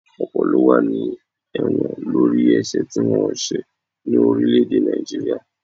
Ọ̀pọ̀ ló wà ní ẹ̀wọ̀n lórí ẹ̀sẹ̀ tí wọ́n ò ṣẹ̀ ni orílé-èdè Naijiria